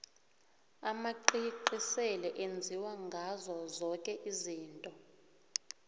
amacici sele enziwa ngazo zoke izinto